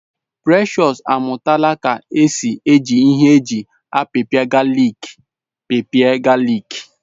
Precious amụtala ka esi eji ihe eji apipia galik pịpịa galik